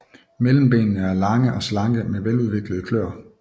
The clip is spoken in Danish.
Mellembenene er lange og slanke med veludviklede kløer